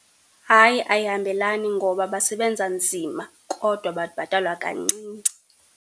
Hayi ayihambelani ngoba basebenza nzima kodwa babhatalwa kancinci.